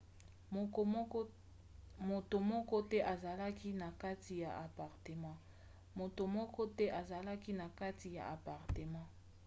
moto moko te azalaki na kati ya apartema